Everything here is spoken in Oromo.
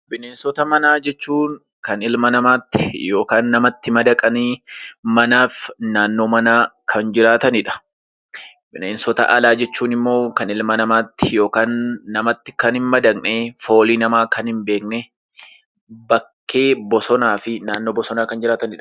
Bineensota manaa jechuun kan ilma namaatti yookaan namatti madaqanii manaa fi naannoo manaa kan jiraatani dha. Bineensota alaa jechuun immoo kan ilma namaatti yookaan namatti kan hin madaqne, foolii namaa kan hin beekne, bakkee bosonaa fi naannoo bosonaa kan jiraatani dha.